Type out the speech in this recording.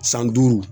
San duuru